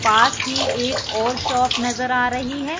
पास ही एक और शॉप नजर आ रही है।